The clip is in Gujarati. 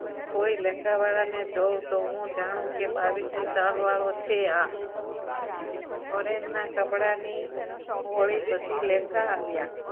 કોઈ લેન્ગા વાળા ને જોવુતો હું જાણું કે બાવીસની સાલ વાળો છે આ foreign ના કપડાની હોળી પછી લેન્ગા આવ્યા